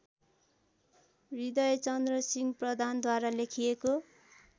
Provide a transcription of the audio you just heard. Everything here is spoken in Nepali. हृदयचन्द्रसिंह प्रधानद्वारा लेखिएको